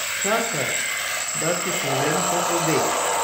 Čakaj, da ti povem o obeh.